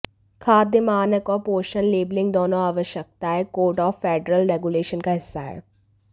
खाद्य मानक और पोषण लेबलिंग दोनों आवश्यकताएं कोड ऑफ़ फ़ेडरल रेग्यूलेशन्स का हिस्सा है